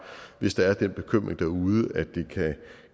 hvis der er den bekymring derude at det